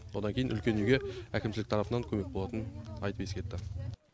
одан кейін үлкен үйге әкімшілік тарапынан көмек болатынын айтып ескертті